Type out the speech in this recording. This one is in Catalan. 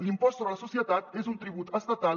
l’impost sobre les socie·tats és un tribut estatal